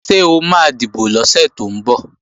Ṣé o máa dìbò lọ́sẹ̀ tó ń bọ̀?